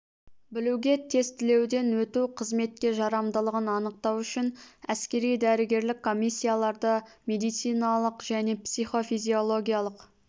білуге тестілеуден өту қызметке жарамдылығын анықтау үшін әскери-дәрігерлік комиссияларда медициналық және психофизиологиялық куәландырудан өту сондай-ақ